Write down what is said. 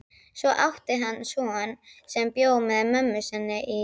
Svo átti hann son sem bjó með mömmu sinni í